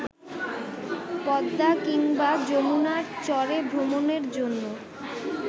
পদ্মা কিংবা যমুনার চরেভ্রমণের জন্য